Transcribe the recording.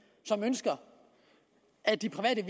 som ønsker at de private